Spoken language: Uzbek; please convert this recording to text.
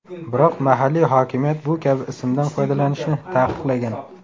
Biroq mahalliy hokimiyat bu kabi ismdan foydalanishni taqiqlagan.